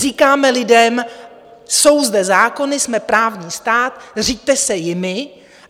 Říkáme lidem: Jsou zde zákony, jsme právní stát, řiďte se jimi!